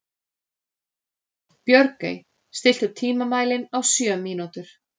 Björgey, stilltu tímamælinn á sjö mínútur.